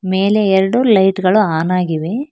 ಮೇಲೆ ಎರಡು ಲೈಟ್ ಗಳು ಆನ್ ಆಗಿವೆ.